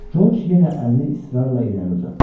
Corc yenə əlini israrla irəli uzatdı.